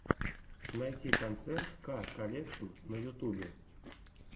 найти концерт ка колекшн на ютубе